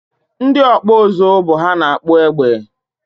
Ndị ọkpụ ụzụ bụ ha na-akpụ egbe